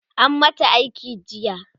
an mata aiki jiya